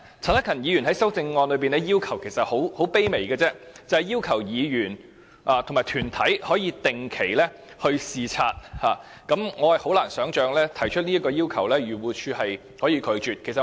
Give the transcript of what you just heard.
陳克勤議員在修正案中提出的要求其實很卑微，只是要求議員和團體可以定期視察，我很難想象漁護署可以拒絕這項要求。